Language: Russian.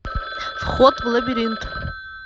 вход в лабиринт